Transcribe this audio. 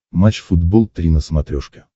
матч футбол три на смотрешке